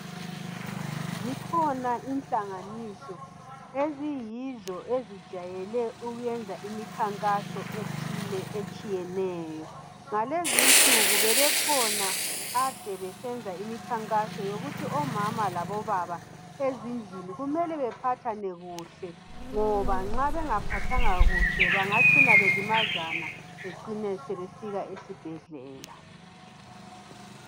Zikhona inhlanganiso ezijayele ukwenza imikhankaso ethile etshiyeneyo. Ngalezinsuku bebekhona abakade besenza imikhankaso yokuthi omama labobaba kumele baphathane kuhle ngoba nxa bengaphathani kuhle bengacina belimazana.